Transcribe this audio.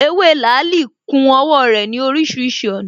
Ewé làálī ku owó rè ní orísirísi ònà